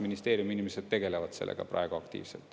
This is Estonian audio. Ministeeriumi inimesed tegelevad sellega praegu aktiivselt.